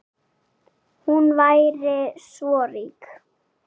Hún væri svo rík.